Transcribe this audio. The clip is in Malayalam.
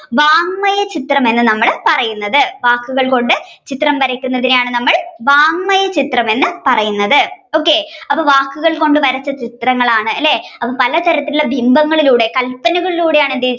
വാങ്മയ ചിത്രം എന്ന് നമ്മൾ പറയുന്നത് വാക്കുകൾ കൊണ്ട് ചിത്രം വരക്കുന്നതിനെയാണ് ണ് നമ്മൾ വാങ്മയ ചിത്രം എന്ന് പറയുന്നത്. okay അപ്പൊ വാക്കുകൾ കൊണ്ട് വരച്ച ചിത്രങ്ങളാണ് അല്ലെ അപ്പൊ പല തരത്തിലുള്ള ബിംബങ്ങളിലൂടെ കല്പനകളിലൂടെയാണ്